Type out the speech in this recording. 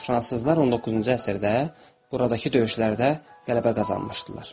Fransızlar 19-cu əsrdə buradakı döyüşlərdə qələbə qazanmışdılar.